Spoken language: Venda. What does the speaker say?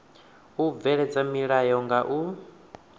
u bveledza milayo nga u